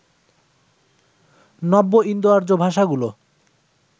নব্য ইন্দোআর্য্য ভাষাগুলো